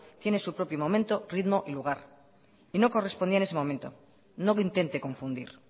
tiene su propio momento ritmo y lugar y no correspondía en ese momento no intente confundir